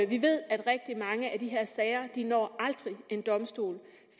vi ved at rigtig mange af de her sager aldrig når en domstol